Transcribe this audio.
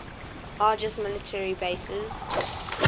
largest military bases